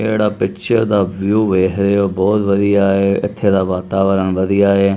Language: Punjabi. ਜਿਹੜਾ ਪਿੱਛੇ ਦਾ ਵਿਊ ਵੇਖ ਰਹੇ ਓ ਬਹੁਤ ਵਧੀਆ ਐ ਇਥੇ ਦਾ ਵਾਤਾਵਰਨ ਵਧੀਆ ਐ।